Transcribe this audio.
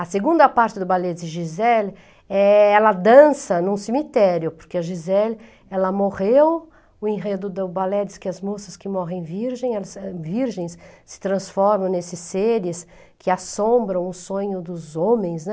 A segunda parte do ballet de Gisele, eh, ela dança num cemitério, porque a Giselle morreu, o enredo do ballet diz que as moças que morrem virgens , eh, virgens, se transformam nesses seres que assombram o sonho dos homens, né?